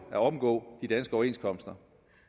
at omgå de danske overenskomster